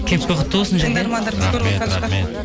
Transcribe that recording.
кепкі құтты болсын жәке